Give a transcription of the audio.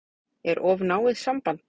Er of náið samband?